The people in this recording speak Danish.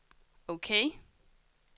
ok